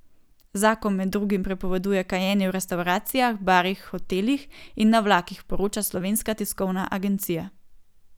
Zakon med drugim prepoveduje kajenje v restavracijah, barih, hotelih in na vlakih, poroča Slovenska tiskovna agencija.